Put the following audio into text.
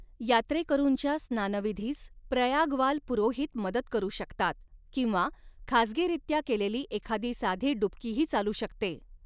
यात्रेकरूंच्या स्नानविधीस प्रयागवाल पुरोहित मदत करू शकतात किंवा खासगीरीत्या केलेली एखादी साधी डुबकीही चालू शकते.